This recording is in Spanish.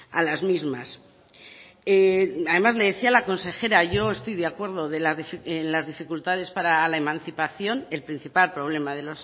a las mismas además le decía la consejera yo estoy de acuerdo en las dificultades para la emancipación el principal problema de